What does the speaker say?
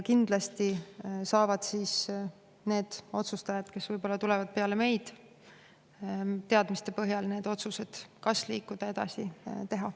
Kindlasti saavad need otsustajad, kes tulevad peale meid, teadmiste põhjal teha otsuse, kas liikuda edasi.